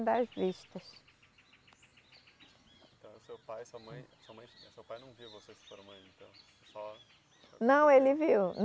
das vistas. Então, o seu pai, sua mãe, sua mãe, seu pai não viu você se formando então, só... Não, ele viu.